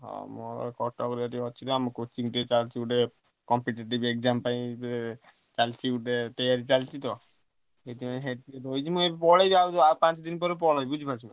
ହଁ ମୁଁ କଟକ ରେ ଅଛି ଆମ coaching ଟେ ଚାଲୁଛି ଗୋଟେ competitive exam ପାଇଁ ଏ ଚାଲିଛି ଗୋଟେ ତେୟାରୀ ଚାଲିଛି ତ। ସେଠୀ ପାଇଁ ସେଇଠି ଟିକେ ରହିଛି ମୁଁ ପଳେଇବି ଆଉ ପାଞ୍ଚ ଦିନ ପରେ ପଳେଇବି ବୁଝିପାରୁଛୁ?